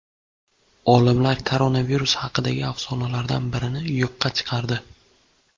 Olimlar koronavirus haqidagi afsonalardan birini yo‘qqa chiqardi.